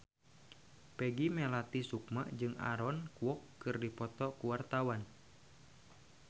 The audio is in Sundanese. Peggy Melati Sukma jeung Aaron Kwok keur dipoto ku wartawan